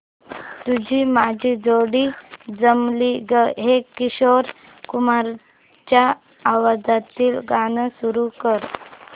तुझी माझी जोडी जमली गं हे किशोर कुमारांच्या आवाजातील गाणं सुरू कर